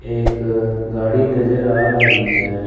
एक गाड़ी नजर आ रही है।